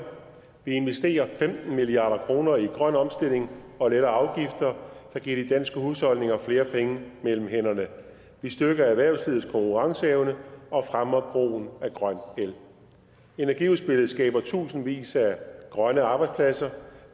vi investerer femten milliard kroner i grøn omstilling og letter afgifter der giver de danske husholdninger flere penge mellem hænderne vi styrker erhvervslivets konkurrenceevne og fremmer brugen af grøn el energiudspillet skaber tusindvis af grønne arbejdspladser